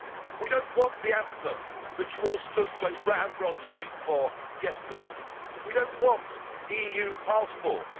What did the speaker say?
We do not want the anthem that you all stood so ramrod straight for yesterday. We do not want EU passports.